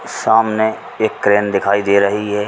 सामने एक क्रेन दिखाई दे रही है।